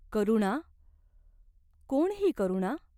करुणा ? कोण ही करुणा ?